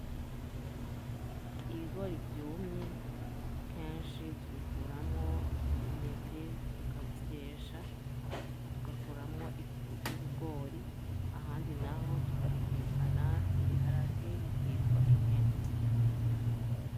Ibigori vyumye kenshi tubikuramwo intete tukabisyesha, tugakuramwo ifu y'ubugori, ahandi naho tukabitekana n'ibiharage bikitwa intete.